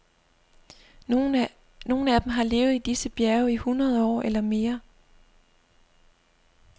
Nogle af dem har levet i disse bjerge i hundrede år eller mere.